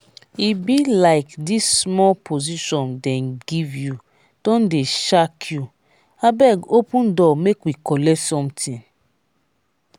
e be like dis small position dem give you don dey shark you abeg open door make we collect something